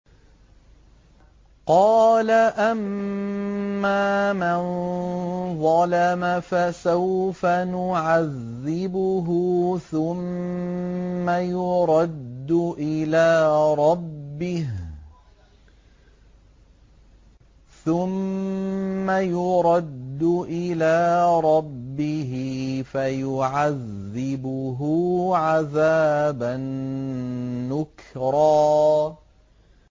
قَالَ أَمَّا مَن ظَلَمَ فَسَوْفَ نُعَذِّبُهُ ثُمَّ يُرَدُّ إِلَىٰ رَبِّهِ فَيُعَذِّبُهُ عَذَابًا نُّكْرًا